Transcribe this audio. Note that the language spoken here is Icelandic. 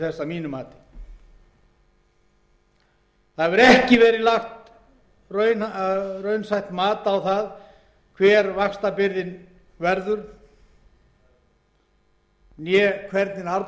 málsins að mínu mati ekki hefur verið lagt raunsætt mat á hver vaxtabyrðin verður né hvernig afborgunarskilmálarnir verða